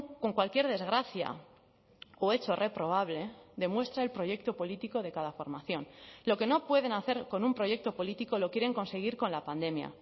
con cualquier desgracia o hecho reprobable demuestra el proyecto político de cada formación lo que no pueden hacer con un proyecto político lo quieren conseguir con la pandemia